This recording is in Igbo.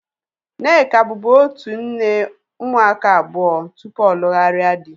Nneka bubu otu nne ụmụaka abụọ tupu ọ lugharia dị